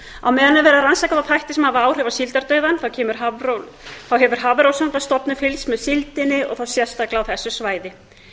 er verið að rannsaka þá þætti sem hafa áhrif á síldardauðann hefur hafrannsóknastofnun fylgst með síldinni og þá sérstaklega á þessu svæði